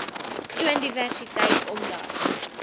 toon diversiteit omdat